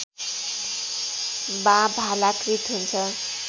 वा भालाकृत हुन्छ